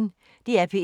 DR P1